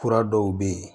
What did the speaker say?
Fura dɔw bɛ yen